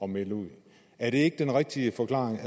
melde ud er det ikke den rigtige forklaring